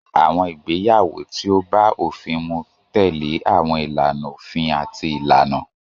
Àwọn ìgbéyàwó tí ó bá òfin mu tẹ̀lé àwọn ìlànà òfin àti ìlànà.